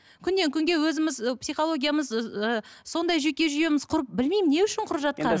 күннен күнге өзіміз ы психологиямыз ыыы сондай жүйке жүйеміз құрып білмеймін не үшін құрып жатқанын